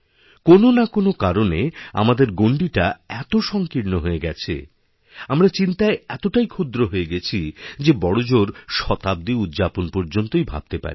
কোননাকোনো কারণে আমাদের গণ্ডীটা এত সঙ্কীর্ণ হয়ে গেছে আমরা চিন্তায়এতটাই ক্ষুদ্র হয়ে গেছি যে বড়জোর শতাব্দী উদ্যাপন পর্যন্তই ভাবতে পারি